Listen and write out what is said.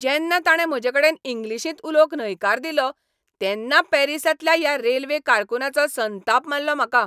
जेन्ना ताणें म्हजेकडेन इंग्लीशींत उलोवंक न्हयकार दिलो तेन्ना पॅरिसांतल्या त्या रेल्वे कारकुनाचो संताप मारलो म्हाका.